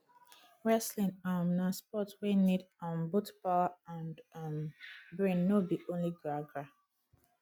wrestling um na sport wey need um both power and um brain no be only gragra